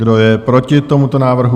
Kdo je proti tomuto návrhu?